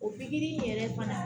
O pikiri in yɛrɛ fana